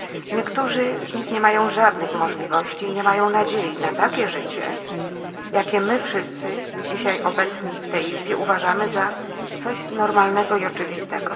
Niektórzy z nich nie mają żadnych możliwości i nie mają nadziei na takie życie, jakie my wszyscy dzisiaj obecni w tej izbie uważamy za coś normalnego i oczywistego.